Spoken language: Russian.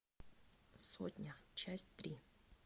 сотня часть три